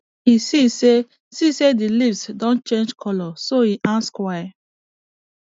e see say see say the leaves don change colour so e ask why